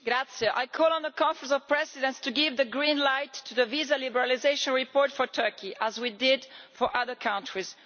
Mr President, I call on the Conference of Presidents to give the green light to the visa liberalisation report for Turkey, as we did for other countries.